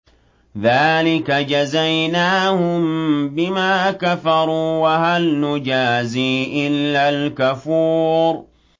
ذَٰلِكَ جَزَيْنَاهُم بِمَا كَفَرُوا ۖ وَهَلْ نُجَازِي إِلَّا الْكَفُورَ